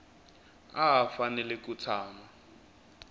a a fanele ku tshama